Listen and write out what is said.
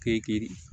Kɛ